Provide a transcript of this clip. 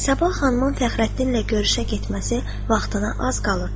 Sabah xanımın Fəxrəddinlə görüşə getməsi vaxtına az qalırdı.